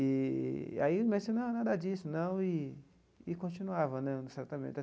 Eee e aí o médico disse, não, nada disso, não, e e continuava né no tratamento.